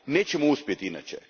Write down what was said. Nećemo uspjeti inače.